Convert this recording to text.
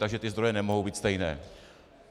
Takže ty zdroje nemohou být stejné.